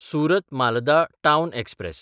सुरत–मालदा town express